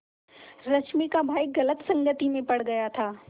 रश्मि का भाई गलत संगति में पड़ गया था